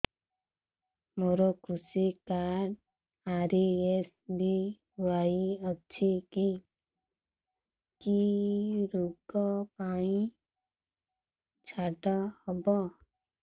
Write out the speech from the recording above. ମୋର କୃଷି card RSBY ଅଛି କି କି ଋଗ ପାଇଁ ଛାଡ଼ ହବ